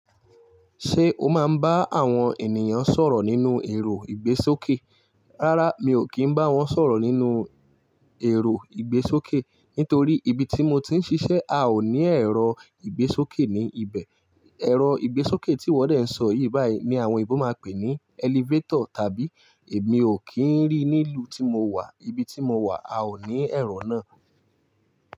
Ṣé o máa ń bá àwọn ènìyàn sọ̀rọ̀ nínú ẹ̀rọ ìgbésókè? Rárá, mi ò kí ń bá wọn sọ̀rọ̀ nínú ẹ̀rọ ìgbésókè. Nítorí ibi tí mo ti ń ṣiṣẹ́ a ò ní ẹ̀rọ ìgbésókè ní ibẹ̀. Ẹ̀rọ ìgbésókè tí wọ́n dẹ̀ ń sọ yìí báyìí ni àwọn òyìnbó máa ń pè ní elevator tàbí èmi ò kí ń rí nílùú tí mo wà. Ibi tí mo wà a ò ní ẹ̀rọ náà.